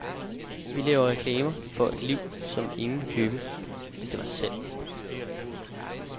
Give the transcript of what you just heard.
Vi laver reklame for et liv, som ingen ville købe, hvis det var til salg.